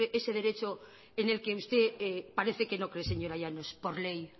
ese derecho en el que usted parece que no cree señora llanos por ley